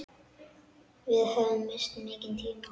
Við höfum misst mikinn tíma.